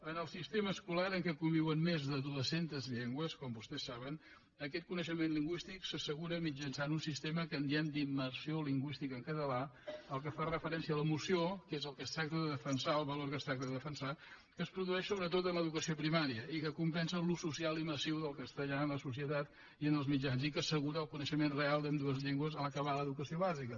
en el sistema escolar en què conviuen més de dues centes llengües com vostès saben aquest coneixement lingüístic s’assegura mitjançant un sistema que en diem d’immersió lingüística en català al qual fa referència la moció que és el que es tracta de defensar el valor que es tracta de defensar que es produeix sobretot en l’educació primària i que compensa l’ús social i massiu del castellà en la societat i en els mitjans i que assegura el coneixement real d’ambdues llengües a l’acabar l’educació bàsica